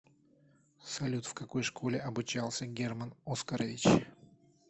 салют в какой школе обучался герман оскарович